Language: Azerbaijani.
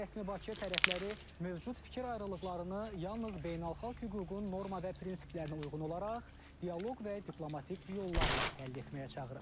Rəsmi Bakı tərəfləri mövcud fikir ayrılıqlarını yalnız beynəlxalq hüququn norma və prinsiplərinə uyğun olaraq dialoq və diplomatik yollarla həll etməyə çağırıb.